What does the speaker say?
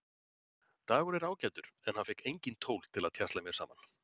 Dagur er ágætur en hann fékk engin tól til að tjasla mér saman.